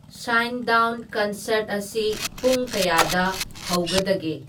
sign down concert ꯑꯁꯤ ꯄꯨꯡ ꯀꯌꯥꯗ ꯍꯧꯗꯒꯦ